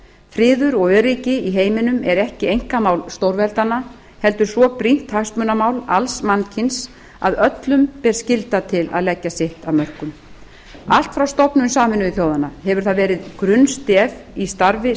friður og öryggi í heiminum er ekki einkamál stórveldanna heldur svo brýnt hagsmunamál alls mannkyns að öllum ber skylda til að leggja sitt af mörkum allt frá stofnun sameinuðu þjóðanna hefur það verið grunnstef í starfi